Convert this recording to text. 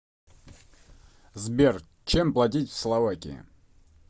сбер чем платить в словакии